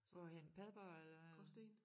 Hvorhenne Padborg eller